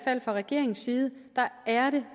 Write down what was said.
er det fra regeringens side